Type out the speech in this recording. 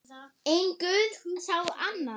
En guð sá annað.